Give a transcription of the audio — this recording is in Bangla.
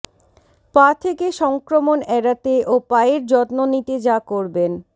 পা থেকে সংক্রমণ এড়াতে ও পায়ের যত্ন নিতে যা করবেন